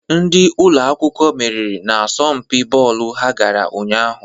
Ndị ụlọ akwụkwọ meriri n'asọmpi bọọlụ ha gara ụnyaahụ.